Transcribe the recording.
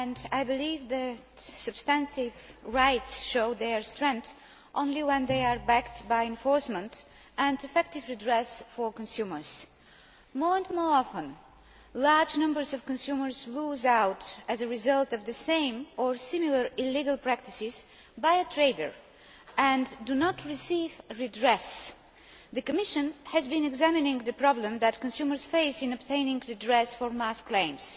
I believe that substantive rights show their strength only when they are backed by enforcement and effective redress for consumers. More and more often, large numbers of consumers lose out as a result of the same or similar illegal practices by a trader and do not receive redress. The Commission has been examining the problem that consumers face in obtaining redress for mass claims.